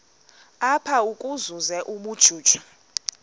apha ukuzuza ubujuju